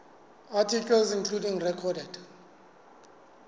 articles including recorded